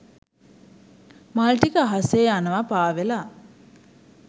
මල් ටික අහසේ යනවා පාවෙලා.